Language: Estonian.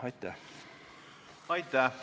Aitäh!